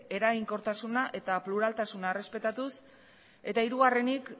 eraginkortasuna eta pluraltasuna errespetatuz eta hirugarrenik